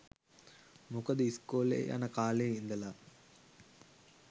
මොකද ‍ඉස්කෝලෙ යන කාලෙ ඉදලා